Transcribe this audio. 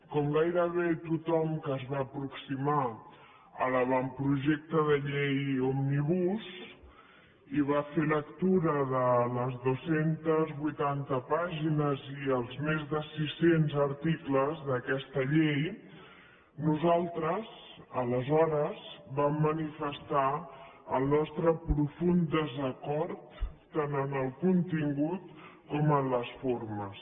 com gairebé tothom que es va aproximar a l’avantprojecte de llei òmnibus i va fer lectura de les dos cents i vuitanta pàgines i els més de sis cents articles d’aquesta llei nosaltres aleshores vam manifestar el nostre profund desacord tant en el contingut com en les formes